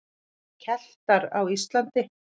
Keltar á Íslandi.